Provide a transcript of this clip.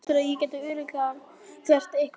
Heldurðu að ég geti örugglega gert eitthvert gagn?